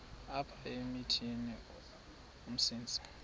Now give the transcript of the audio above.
apha emithini umsintsi